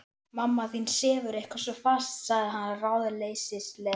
Mamma þín sefur eitthvað svo fast sagði hann ráðleysislega.